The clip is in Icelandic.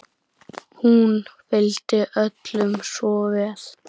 Hún vildi öllum svo vel.